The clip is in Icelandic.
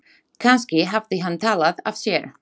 Kannski hafði hann talað af sér.